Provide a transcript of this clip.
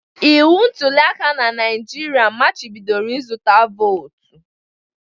Iwu ntulịaka na Naịjirịa machibidoro ịzụta vootu